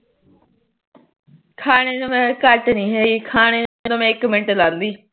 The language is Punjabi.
ਖਾਣੇ ਨੂੰ ਮੈ ਘਟ ਨੀ ਹੈਗੀ ਖਾਣੇ ਨੂੰ ਮੈ ਇੱਕ ਮਿੰਟ ਲਾਂਦੀ